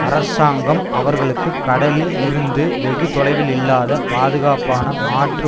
அரசாங்கம் அவர்களுக்கு கடலில் இருந்து வெகு தொலைவில் இல்லாத பாதுகாப்பான மாற்று